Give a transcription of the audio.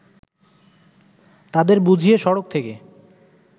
তাদের বুঝিয়ে সড়ক থেকে